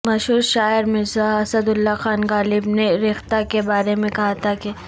مشہور شاعر مرزا اسد اللہ خان غالب نے ریختہ کے بارے میں کہا تھا کہ